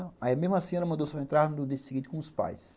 Aí mesmo assim ela mandou só entrar no dia seguinte com os pais.